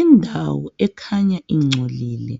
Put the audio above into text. Indawo ekhanya ingcolile